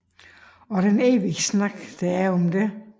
Og den evige snak der er om det